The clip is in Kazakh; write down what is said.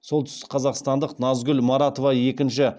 солтүстікқазақстандық назгүл маратова екінші